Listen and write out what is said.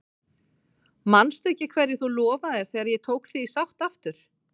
Manstu ekki hverju þú lofaðir þegar ég tók þig í sátt aftur?